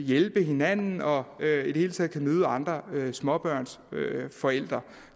hjælpe hinanden og i det hele taget møde andre småbørnsforældre